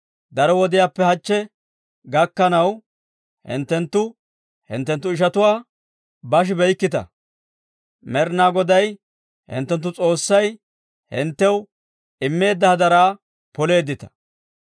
Daro wodiyaappe hachche gakkanaw, hinttenttu hinttenttu ishatuwaa bashibeykkita; Med'ina Goday hinttenttu S'oossay hinttew immeedda hadaraa poleeddita.